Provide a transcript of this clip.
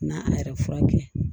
Na an yɛrɛ furakɛ